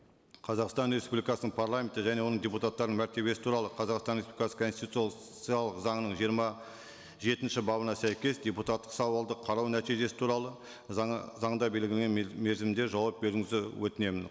қазақстан республикасының парламенті және оның депутаттарының мәртебесі туралы қазақстан республикасы конституциялық заңының жиырма жетінші бабына сәйкес депутаттық сауалды қарау нәтижесі туралы заңда белгіленген мерзімде жауап беруіңізді өтінемін